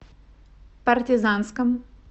партизанском